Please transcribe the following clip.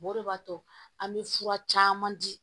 O de b'a to an bɛ fura caman di